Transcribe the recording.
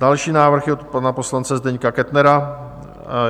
Další návrh je od pana poslance Zdeňka Kettnera.